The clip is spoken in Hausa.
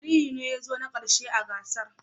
Aliyu ne ya zo na karshe a gasar